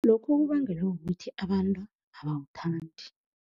Lokhu kubangelwa kukuthi abantu abawuthandi.